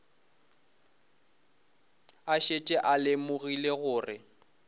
a šetše a lemogile gore